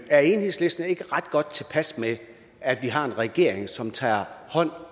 er enhedslisten ikke ret godt tilpas med at vi har en regering som tager hånd